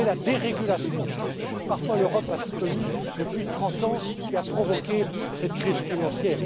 ne crois pas. C'est la dérégulation, que parfois l'Europe a soutenue depuis 30ans, qui a provoqué cette crise